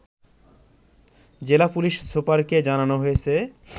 জেলার পুলিশ সুপারকে জানানো হয়েছে